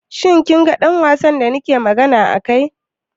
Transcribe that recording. Shi kin ga ɗan wasan da nake magana a kai?